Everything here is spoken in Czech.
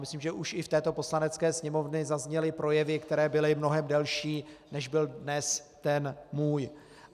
Myslím, že už i v této Poslanecké sněmovně zazněly projevy, které byly mnohem delší, než byl dnes ten můj.